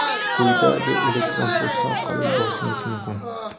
quyidagi elektron pochta orqali yuborishingiz mumkin:.